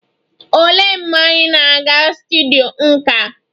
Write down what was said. Olee mgbe anyị na-aga studyo nka?